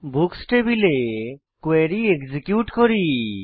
books টেবিলে query execute করি